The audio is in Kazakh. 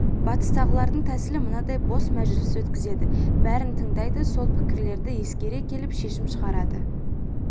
батыстағылардың тәсілі мынандай босс мәжіліс өткізеді бәрін тыңдайды сол пікірлерді ескере келіп шешім шығарады